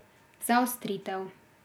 Zaostritev.